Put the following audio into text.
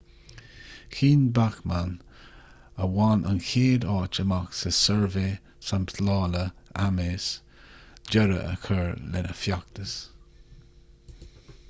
chinn bachmann a bhain an chéad áit amach sa suirbhé samplála ames deireadh a chur lena feachtas